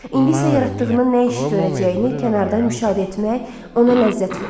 İndi isə yaratdığının nə iş görəcəyini kənardan müşahidə etmək ona ləzzət verir.